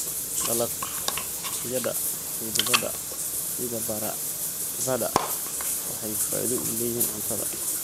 Dalagyada xididada sida baradhada waxay faa'iido u leeyihiin cuntada.